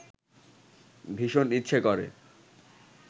ভীষণ ইচ্ছে করে